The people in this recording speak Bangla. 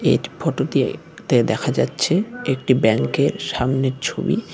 এর ফটো দিয়ে দে দেখা যাচ্ছে একটি ব্যাঙ্কের সামনের ছবি।